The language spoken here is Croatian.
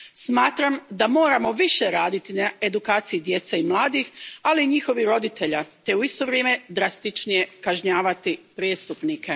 Smatram da moramo više raditi na edukaciji djece i mladih, ali i njihovih roditelja, te u isto vrijeme drastičnije kažnjavati prijestupnike.